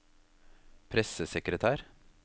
pressesekretær